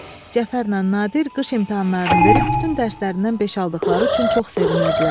Cəfərlə Nadir qış imtahanlarını verib bütün dərslərindən beş aldıqları üçün çox sevinirdilər.